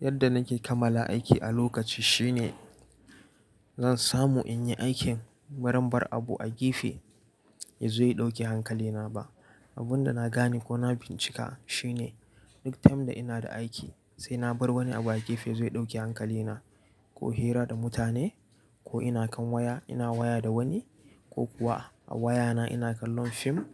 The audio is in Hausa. Yadda nake kamala aiki a lokaci shine zan samu in yi aikin bazan bar abu a gefe ya zo ya ɗauki hankalina ba. Abun da na gane ko na bincika shine duk time da ina da aiki sai na bar wani abu a gefe ya zo ya ɗauki hankalina ko hira da mutane ko ina kan waya ina waya da wani ko kuwa a wayana ina kallon fim